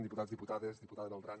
diputats diputades diputada beltrán